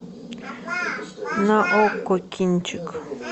на окко кинчик